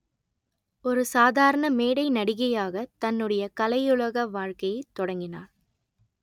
ஒரு சாதாரண மேடை நடிகையாக தன்னுடைய கலையுலக வாழ்க்கையைத் தொடங்கினார்